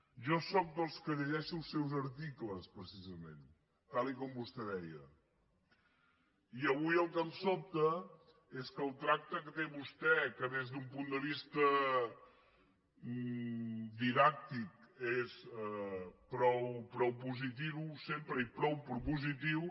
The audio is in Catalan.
jo sóc dels que llegeixo els seus articles precisament tal com vostè deia i avui el que em sobta és que el tracte que té vostè que des d’un punt de vista didàctic és prou positiu sempre i prou propositiu